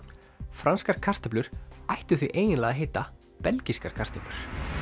franskar kartöflur ættu því eiginlega að heita belgískar kartöflur